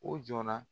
O jɔ la